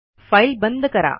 file बंद करा